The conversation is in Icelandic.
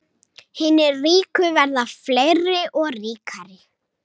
Hinir ríku verða fleiri og ríkari